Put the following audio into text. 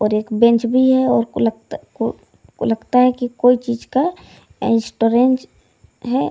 और एक बेंच भी है और है की कोई चीज का है।